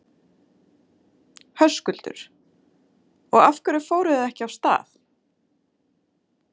Höskuldur: Og af hverju fóruð þið ekki af stað?